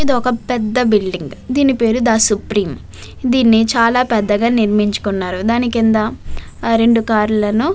ఇది ఒక పెద్ద బిల్డింగ్ దీని పేరు దా సుప్రీం దీన్నిచాలా పెద్దగా నిర్మించుకున్నారు దాని కింద ఆ రెండు కార్లను --